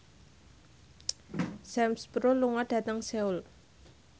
Sam Spruell lunga dhateng Seoul